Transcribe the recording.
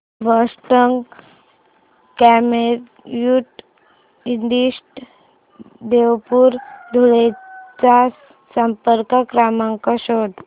Boston computer institute Devpur Dhule चा संपर्क क्रमांक शोध